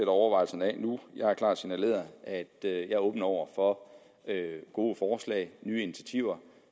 overvejelser jeg har klart signaleret at jeg er åben over for gode forslag nye initiativer